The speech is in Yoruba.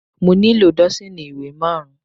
Mo nílò dọ́sììnì ìwé má rùn-ún.